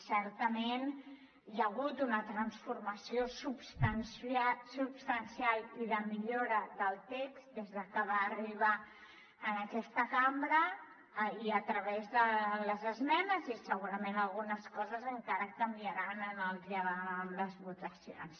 certament hi ha hagut una transformació substancial i de millora del text des de que va arribar a aquesta cambra i a través de les esmenes i segurament algunes coses encara canviaran en el dia amb les votacions